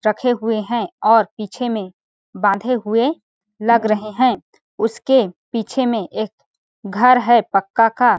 रखे हुए है और पीछे में बांधे हुए लग रहे है उसके पीछे में एक घर है पक्का का --